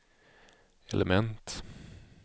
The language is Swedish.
element